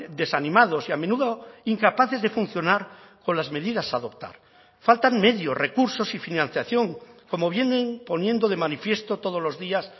desanimados y a menudo incapaces de funcionar con las medidas a adoptar faltan medios recursos y financiación como vienen poniendo de manifiesto todos los días